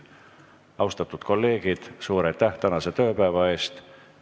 Austatud kolleegid, suur aitäh tänase tööpäeva eest!